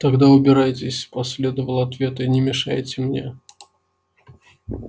тогда убирайтесь последовал ответ и не мешайте мне